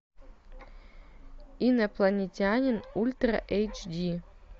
инопланетянин ультра эйч ди